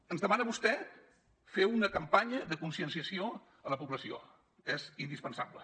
ens demana vostè fer una campanya de conscienciació a la població és indispensable